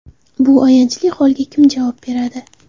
Bu ayanchli holga kim javob beradi?